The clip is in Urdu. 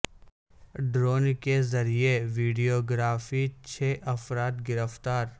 ڈرون کے ذریعہ ویڈیو گرافی چھ افراد گرفتار